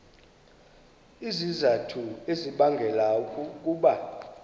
izizathu ezibangela ukuba